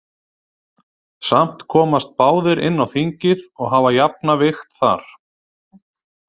Samt komast báðir inn á þingið og hafa jafna vigt þar.